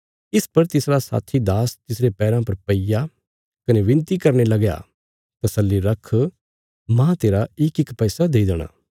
इस पर तिसरा साथी दास तिसरे पैराँ पर पैईया कने विनती करने लगया तसल्ली रख माह तेरा इकइक पैसा देई देणा